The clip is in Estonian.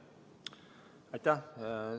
Aitäh!